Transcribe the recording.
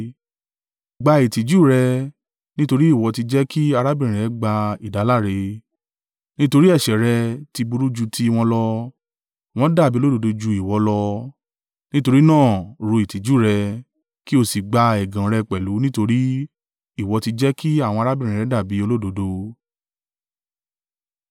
Gba ìtìjú rẹ, nítorí ìwọ ti jẹ́ kí arábìnrin rẹ gba ìdáláre. Nítorí ẹ̀ṣẹ̀ rẹ ti burú ju tí wọn lọ, wọn dàbí olódodo ju ìwọ lọ. Nítorí náà rú ìtìjú rẹ, kí o sì gba ẹ̀gàn rẹ pẹ̀lú nítorí ìwọ ti jẹ́ kí àwọn arábìnrin rẹ dàbí olódodo.